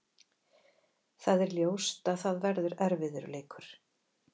Það er ljóst að það verður erfiður leikur.